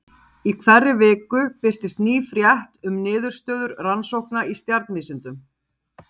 Í hverri viku birtist ný frétt um niðurstöður rannsókna í stjarnvísindum.